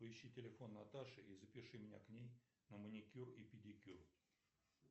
поищи телефон наташи и запиши меня к ней на маникюр и педикюр